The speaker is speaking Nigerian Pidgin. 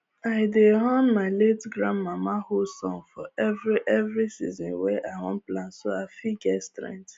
i dey hum my late grandmama hoe song for every every season wey i wan plant so i fit get strength